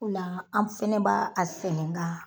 Ola an fɛnɛ b'a a sɛnɛ ka